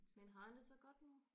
Men har han det så godt nu?